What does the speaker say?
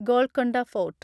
Golconda fort